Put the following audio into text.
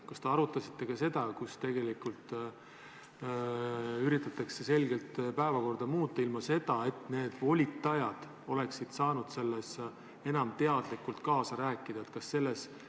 Kas te arutasite ka võimalust, et üritatakse päevakorda muuta, ilma et volitajad oleksid saanud selles kaasa rääkida?